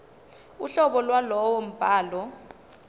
uhlobo lwalowo mbhalo